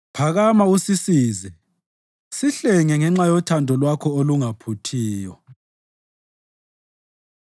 Phakama usisize; sihlenge ngenxa yothando lwakho olungaphuthiyo.